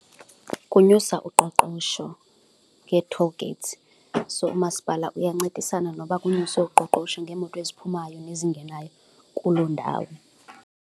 Kunyusa uqoqosho ngee-toll gates. So, umasipala uyancedisana noba kunyuswe uqoqosho ngeemoto eziphumayo nezingenayo kuloo ndawo.